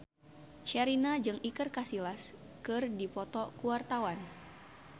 Sherina jeung Iker Casillas keur dipoto ku wartawan